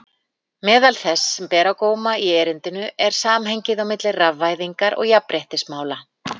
Meðal þess sem ber á góma í erindinu er samhengið milli rafvæðingar og jafnréttismála.